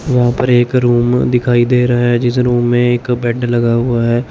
वहां पर एक रूम दिखाई दे रहा है जिस रूम में एक बेड लगा हुआ है।